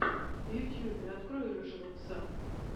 в ютубе открой рыжего пса